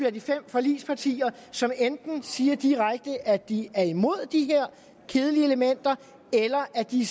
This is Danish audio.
af de fem forligspartier som enten siger direkte at de er imod de her kedelige elementer eller at de